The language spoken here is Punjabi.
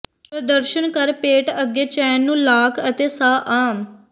ਪ੍ਰਦਰਸ਼ਨ ਕਰ ਪੇਟ ਅੱਗੇ ਚੈਨ ਨੂੰ ਲਾਕ ਅਤੇ ਸਾਹ ਆਮ